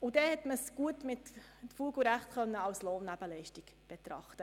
So konnten die Beiträge als Lohnnebenleistungen betrachtet werden.